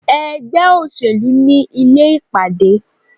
Ègbé òṣèlú ni Ilé ìpàdé